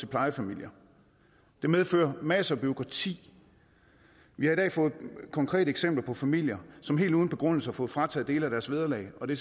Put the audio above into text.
plejefamilier det medfører masser af bureaukrati vi har i dag fået konkrete eksempler på familier som helt uden begrundelse har fået frataget dele af deres vederlag og det